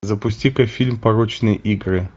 запусти ка фильм порочные игры